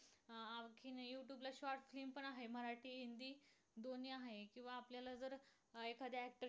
पण आहे. मराठी हिंदी दोन्हीही आहे किंवा आपल्याला जर एखाद्या actor